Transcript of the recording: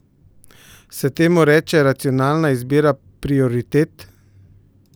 Se temu reče racionalna izbira prioritet?